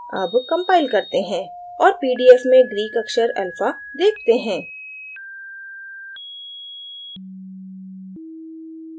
अब compile करते हैं और pdf में greek अक्षर अल्फ़ा देखते हैं